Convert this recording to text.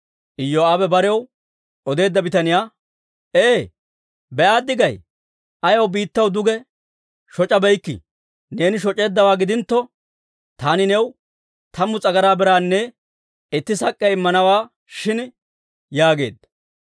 Iyoo'aabe barew odeedda bitaniyaa, «Hee? Be'aaddi gay? Ayaw biittaw duge shoc'abeykkii? Neeni shoc'eeddawaa gidintto, taani new tammu s'agaraa biraanne itti sak'k'iyaa immanawaa shin» yaageedda.